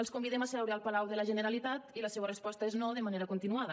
els convidem a seure al palau de la generalitat i la seua resposta és no de manera continuada